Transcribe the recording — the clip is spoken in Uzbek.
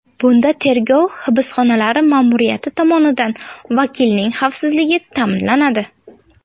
Bunda tergov hibsxonalari ma’muriyati tomonidan vakilning xavfsizligi ta’minlanadi.